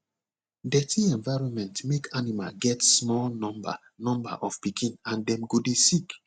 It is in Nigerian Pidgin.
dirty environment make animal get small number number of pikin and dem go dey sick